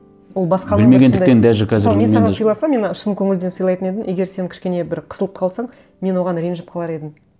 ол басқалар да саған сыйласам мен шын көңілден сыйлайтын едім егер сен кішкене бір қысылып қалсаң мен оған ренжіп қалар едім